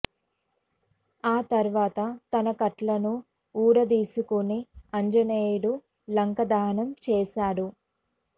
ఆ తరువాత తన కట్లన్నీ వూడదీసుకుని ఆంజనేయుడు లంకా దహనం చేస్తాడు